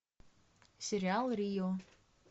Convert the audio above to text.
сериал рио